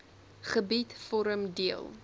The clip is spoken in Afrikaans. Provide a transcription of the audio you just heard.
gebied vorm deel